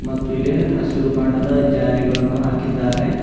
ಮತ್ತು ಇಲ್ಲಿ ಹಸಿರು ಬಣ್ಣದ ಜಾಲಿಗಳನ್ನು ಹಾಕಿದ್ದಾರೆ.